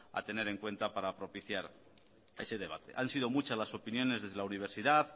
a tener en cuenta para propiciar ese debate han sido muchas las opiniones desde la universidad